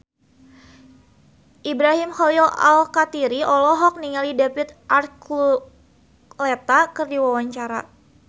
Ibrahim Khalil Alkatiri olohok ningali David Archuletta keur diwawancara